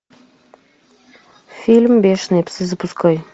фильм бешеные псы запускай